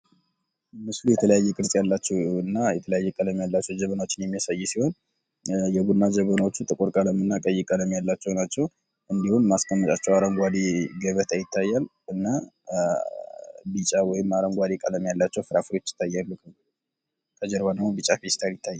ይህ ምስል የተለያየ ቅርፅ ያላቸው እና የተለያየ ቀለም ያላቸው ጀበናዎችን የሚያሳይ ሲሆን የቡና ጀበናዎች ጥቁር ቀለም እና ቀይ ቀለም ያላቸው ናቸው እንዲሁም ማስቀመጫቸው አረጓዴ ገበታ ይታያል እና ቢጫ ወይም አረንጓዴ ቀለም ያላቸው ፍራፍሬዎች ይታያሉ ከጀርባ ደግሞ ቢጫ ፊስታል ይታያል።